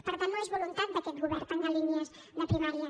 per tant no és voluntat d’aquest govern tancar línies de primària